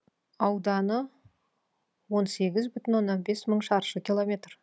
ауданы он сегіз бүтін оннан бес мың шаршы километр